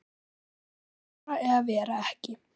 Að vera eða vera ekki.